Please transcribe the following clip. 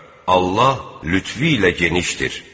Allah lütfü ilə genişdir.